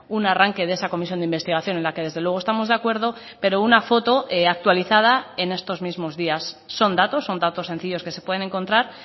un arranque de esa comisión de investigación en la que desde luego estamos de acuerdo pero una foto actualizada en estos mismos días son datos son datos sencillos que se pueden encontrar